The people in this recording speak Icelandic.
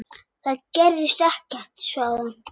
Það gerðist ekkert, svaraði hún.